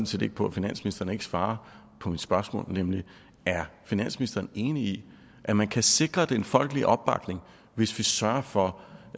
set ikke på at finansministeren ikke svarer på mit spørgsmål nemlig er finansministeren enig i at man kan sikre den folkelige opbakning hvis vi sørger for